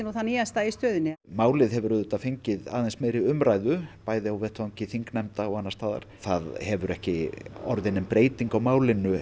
það nýjasta í stöðunni málið hefur auðvitað fengið aðeins meiri umræðu bæði á vettvangi þingnefnda og annars staðar það hefur ekki orðið nein breyting á málinu